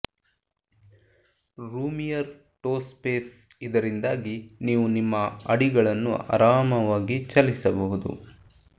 roomier toe space ಇದರಿಂದಾಗಿ ನೀವು ನಿಮ್ಮ ಅಡಿಗಳನ್ನು ಆರಾಮವಾಗಿ ಚಲಿಸಬಹುದು